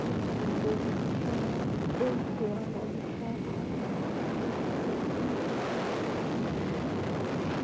और एक विंडो भी दिख रहा है। बैंक पुराना दिख रहा है बहोत काफी पुराना। पेंटिंग भी पुराना हो चुका है।